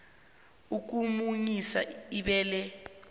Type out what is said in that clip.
ukumunyisa ibele isana